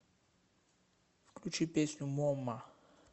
включи песню момма